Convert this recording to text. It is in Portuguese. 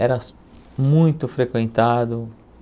Eras muito frequentado.